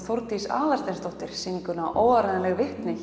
Þórdís Aðalsteinsdóttir sýninguna óáreiðanleg vitni